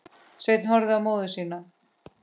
Sveinn horfði á móður sína.